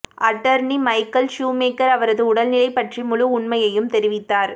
attorney Michael Schumacher அவரது உடல்நிலை பற்றிய முழு உண்மையையும் தெரிவித்தார்